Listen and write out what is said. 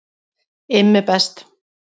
IMMI BEST